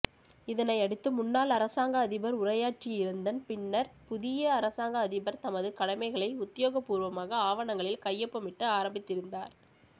இதனையடுத்து முன்னாள் அரசாங்க அதிபர் உரையாற்றியிருந்தன் பின்னர் புதிய அரசாங்க அதிபர் தனது கடமைகளை உத்தியோகபூர்வமாக ஆவணங்களில் கையொப்பமிட்டு ஆரம்பித்திருந்தார்